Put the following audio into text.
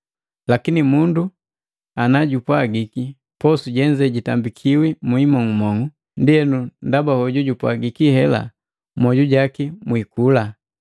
Lakini mundu najumpwaji, “Posu jenze jitambikiwi mukimong'umong'u,” ndienu ndaba hoju jojupwagiki hela mmwoju jaki mwikula.